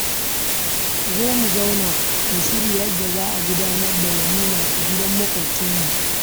Ku zo mu zauna mu shirya yadda za a gudanar da walima a gidan maƙwabcinmu